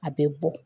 A bɛ bɔ